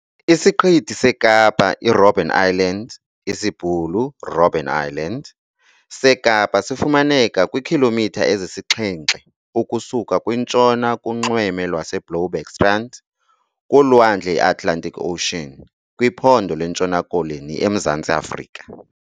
Isiqithi seKapa i-Robben Island, isiBhulu, Robbeneiland, seKapa sifumaneka kwiikhilomitha ezisixhenxe ukusuka kwintshona kunxweme lwaseBloubergstrand, kulwandle iAtlantic Ocean, kwiphondo lweNtshona Koloni eMzantsi Afrika.